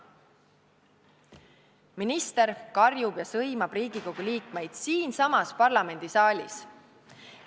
Minister karjub ja sõimab Riigikogu liikmeid siinsamas parlamendisaalis.